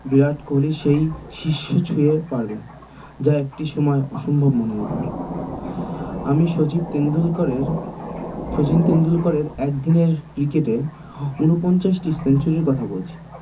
বিরাট কোহলি সেই শীর্ষ ছুঁয়ে পারবে যা একটি সময় অসম্ভব মনে হত আমি শচীন টেন্ডুরকারের শচীন টেন্ডুরকারের একদিনের cricket এ ঊনপঞ্চাশটি century র কথা বলছি